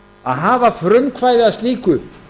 að hafa frumkvæði að slíku